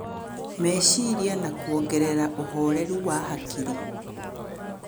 Meciria na kuongerera ũhoreru wa hakiri.